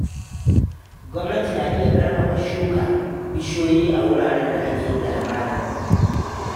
Gwamnati na iya ƙarfafa shuka bishiyoyi a wuraren da ake da hamada.